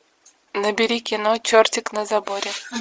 набери кино чертик на заборе